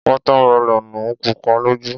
Wọ́tá melọ̀nù pupa lójú.